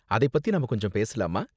அதைப் பத்தி நாம கொஞ்சம் பேசலாமா?